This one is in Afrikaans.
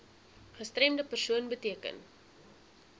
gestremde persoon beteken